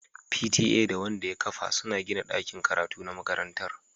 P.T.A da Wanda ya kafa suna gina dakin karatu na makarantar